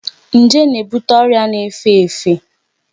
Njé na-ebute ọrịa na-efe efe.